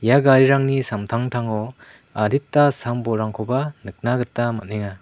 ia garirangni samtangtango adita sam-bolrangkoba nikna gita man·enga.